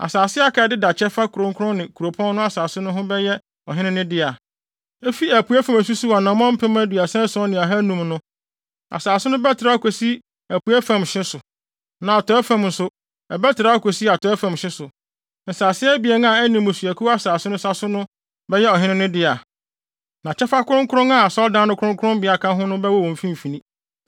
“Asase a aka a ɛdeda kyɛfa kronkron ne kuropɔn no asase ho no bɛyɛ ɔhene no dea. Efi apuei fam a esusuw anammɔn mpem aduasa ason ne ahannum (37,500) no, asase no bɛtrɛw akosi apuei fam hye so, na atɔe fam nso, ɛbɛtrɛw akosi atɔe fam hye so. Nsase abien a ɛne mmusuakuw asase no sa so no bɛyɛ ɔhene no dea, na kyɛfa kronkron a asɔredan no kronkronbea ka ho no bɛwɔ wɔn mfimfini.